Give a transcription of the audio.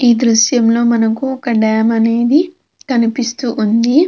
ఈ దృశ్యం లో మనకి ఒక డాం అనేది కనిపిస్తూ ఉంది.